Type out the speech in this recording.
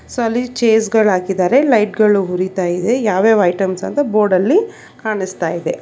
ಸಲಿ ಚೇರ್ಸ್ ಗಳಾಕ್ಕಿದ್ದಾರೆ ಲೈಟ್ ಗಳು ಉರಿತಾ ಇದೆ ಯಾವ್ ಯಾವ್ ಐಟಮ್ಸ್ ಅಂತ ಬೋರ್ಡಲ್ಲಿ ಕಾಣಿಸ್ತಾ ಇದೆ.